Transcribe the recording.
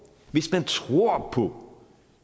hvis man tror på